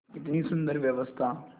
कितनी सुंदर व्यवस्था